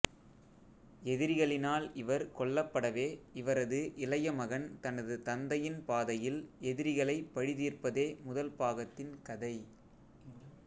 எதிரிகளினால் இவர் கொல்லப்படவே இவரது இளைய மகன் தனது தந்தையின் பாதையில் எதிரிகளை பழிதீர்ப்பதே முதல் பாகத்தின் கதை